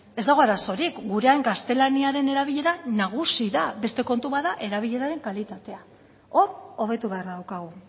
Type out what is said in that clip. ez dago arazorik gurean gaztelaniaren erabilera nagusi da beste kontu bat da erabileraren kalitatea hor hobetu beharra daukagu